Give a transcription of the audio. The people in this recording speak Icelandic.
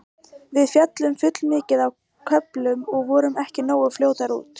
Við féllum full mikið á köflum og vorum ekki nógu fljótar út.